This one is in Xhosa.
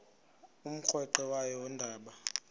umrweqe wayo yoonda